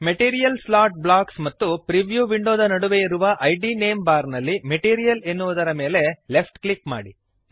material slot box ಮತ್ತು preview ವಿಂಡೋದ ನಡುವೆ ಇರುವ ಇದ್ ನೇಮ್ ಬಾರ್ ನಲ್ಲಿ ಮೆಟೀರಿಯಲ್ ಎನ್ನುವುದರ ಮೇಲೆ ಲೆಫ್ಟ್ ಕ್ಲಿಕ್ ಮಾಡಿರಿ